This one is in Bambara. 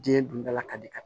Den dun dala ka di ka